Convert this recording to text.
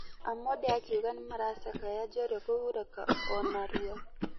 Amonde akĩuga nĩmaracskaya njorua kũhurũka onarua.